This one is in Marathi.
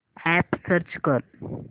अॅप सर्च कर